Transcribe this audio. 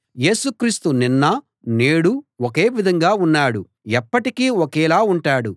యేసు క్రీస్తు నిన్న నేడు ఒకే విధంగా ఉన్నాడు ఎప్పటికీ ఒకేలా ఉంటాడు